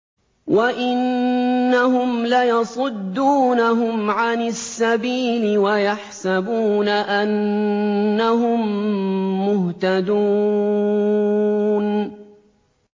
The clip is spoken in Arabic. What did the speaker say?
وَإِنَّهُمْ لَيَصُدُّونَهُمْ عَنِ السَّبِيلِ وَيَحْسَبُونَ أَنَّهُم مُّهْتَدُونَ